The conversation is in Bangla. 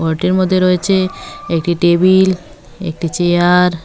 ঘরটির মধ্যে রয়েছে একটি টেবিল একটি চেয়ার ।